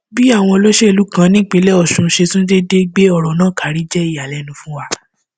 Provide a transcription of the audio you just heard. bí àwọn olóṣèlú kan nípínlẹ ọsùn ṣe tún déédé gbé ọrọ náà karí jẹ ìyàlẹnu fún wa